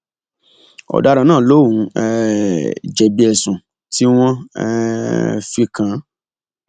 ọdaràn náà lòun um jẹbi ẹsùn tí wọn um fi kàn án